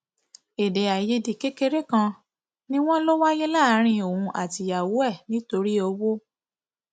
èdèàìyedè kékeré kan ni wọn lọ wáyé láàrin òun àtìyàwó ẹ nítorí owó